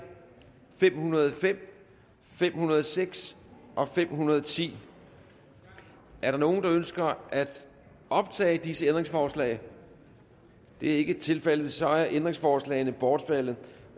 fem hundrede og fem fem hundrede og seks og fem hundrede og ti er der nogen der ønsker at optage disse ændringsforslag det er ikke tilfældet så er ændringsforslagene bortfaldet